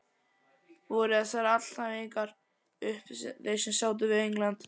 Voru þessar alhæfingar allt sem þeir sáu við England?